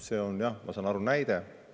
See on, jah, ma saan aru, näide.